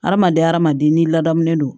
Hadamaden hadamaden n'i ladamunen don